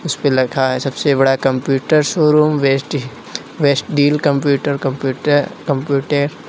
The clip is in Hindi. इसपे लिखा है सबसे बड़ा computer showroom best deal computer computer computer